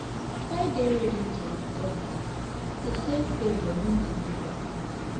Try dey ready to return um di same favour when di neigbour ask